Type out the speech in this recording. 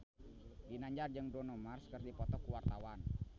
Ginanjar jeung Bruno Mars keur dipoto ku wartawan